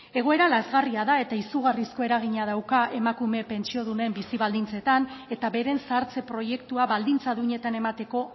egoera lazgarria da eta izugarrizko eragina dauka emakume pentsiodunen bizi baldintzetan eta beren zahartze proiektua baldintza duinetan emateko